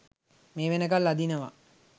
මේ වෙනකල් අදිනවා